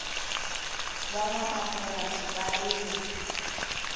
va nwanamapurasi va rima